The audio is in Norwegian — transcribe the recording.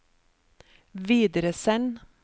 videresend